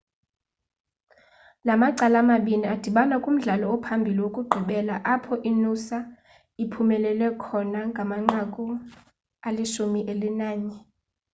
la macala mabini adibana kumdlalo ophambili wokugqibela apho inoosa iphumelele khona ngamanqaku ali-11